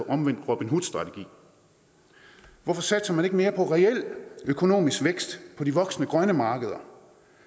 omvendt robin hood strategi hvorfor satser man ikke mere på reel økonomisk vækst på de voksende grønne markeder